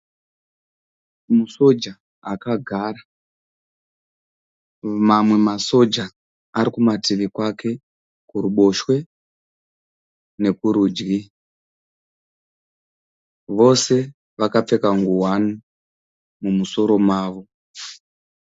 Musoja akagara. Mamwe masoja ari kumativi kwake kuruboshwe nekurudyi. Vose vakapfeka ngowani mumusoro mavo.